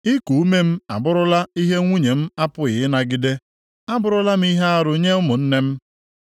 Iku ume m abụrụla ihe nwunye m apụghị ịnagide; abụrụla m ihe arụ nye ụmụnne m.